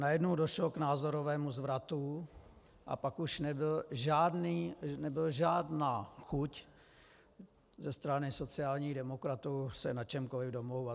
Najednou došlo k názorovému zvratu a pak už nebyla žádná chuť ze strany sociálních demokratů se na čemkoliv domlouvat.